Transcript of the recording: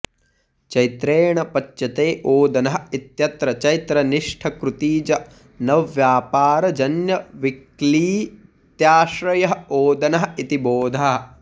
चैत्रेण पच्यते ओदनः इत्यत्र चैत्रनिष्ठकृतिजन्यव्यापारजन्यविक्लित्त्याश्रयः ओदनः इति बोधः